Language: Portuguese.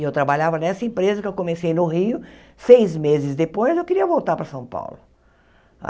E eu trabalhava nessa empresa que eu comecei no Rio, seis meses depois eu queria voltar para São Paulo.